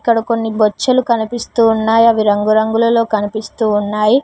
ఆడ కొన్ని బొచ్చులు కనిపిస్తున్నాయా అవి రంగురంగులలో కనిపిస్తూ ఉన్నాయి.